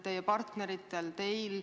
Teie partneritel ja teil.